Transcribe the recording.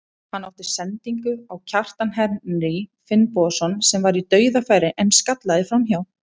Hann átti sendingu á Kjartan Henry Finnbogason sem var í dauðafæri en skallaði framhjá.